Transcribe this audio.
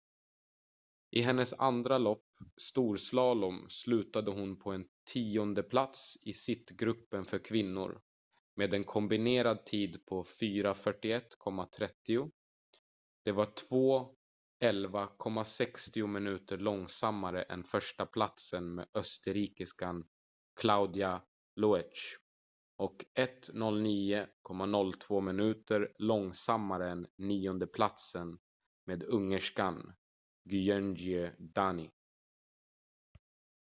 i hennes andra lopp storslalom slutade hon på en tiondeplats i sittgruppen för kvinnor med en kombinerad tid på 4:41,30. det var 2:11,60 minuter långsammare än förstaplatsen med österrikiskan claudia loesch och 1:09.02 minuter långsammare än niondeplatsen med ungerskan gyöngyi dani